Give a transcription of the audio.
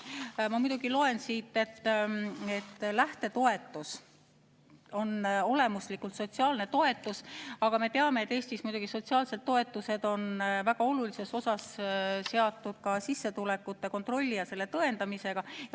Ma muidugi loen siit, et lähtetoetus on olemuslikult sotsiaalne toetus, aga me teame, et Eestis on sotsiaalsed toetused väga olulises osas seotud ka sissetulekute kontrolli ja selle tõendamisega.